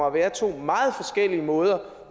at være to meget forskellige måder